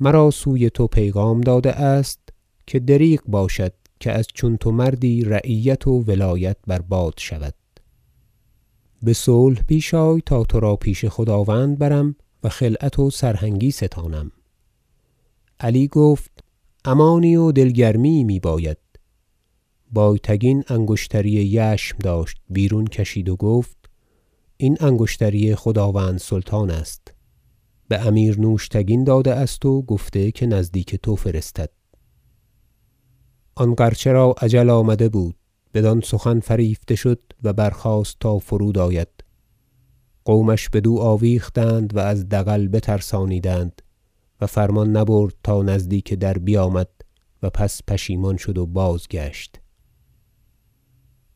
مرا سوی تو پیغام داده است که دریغ باشد که از چون تو مردی رعیت و ولایت بر باد شود بصلح پیش آی تا ترا پیش خداوند برم و خلعت و سرهنگی ستانم علی گفت امانی و دل گرمی یی میباید بایتگین انگشتری یشم داشت بیرون کشید و گفت این انگشتری خداوند سلطان است بامیر نوشتگین داده است و گفته که نزدیک تو فرستد آن غرچه را اجل آمده بود بدان سخن فریفته شد و برخاست تا فرود آید قومش بدو آویختند و از دغل بترسانیدند و فرمان نبرد و تا نزدیک در بیامد و پس پشیمان شد و بازگشت